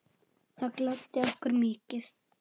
Það gladdi okkur mikið.